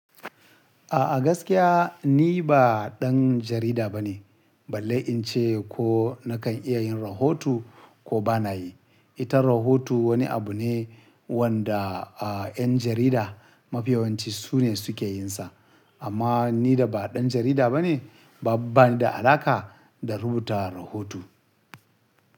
A'a gaskiya ni ba ɗan jarida bane. Balle in ce ko na kan iya yin rahoto ko bana yi. Ita rahoto wani abu ne wanda, a, 'yan jarida mafiyawanci su ne suke yin sa. Amma ni da ba ɗan jarida bane ba bani da alaƙa da rubuta rahoto.